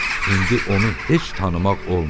İndi onu heç tanımaq olmurdu.